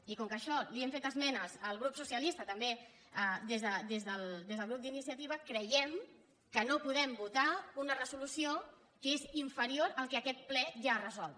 i com que a això hi hem fet esmenes el grup socialista també des del grup d’iniciativa creiem que no podem votar una resolució que és inferior al que aquest ple ja ha resolt